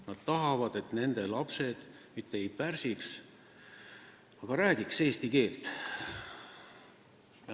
Nad tahavad, et nende lapsed mitte ei pursiks, vaid räägiks eesti keelt.